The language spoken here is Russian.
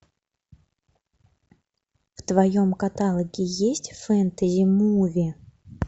в твоем каталоге есть фэнтези муви